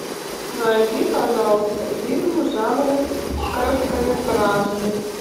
найди пожалуйста фильм в жанре короткометражный